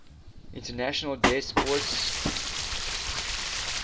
international des poids